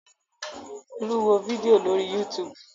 Folú wo fídíò lórí YouTube.